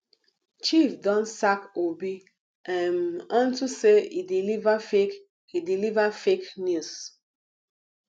chief don sack obi um unto say he deliver fake he deliver fake news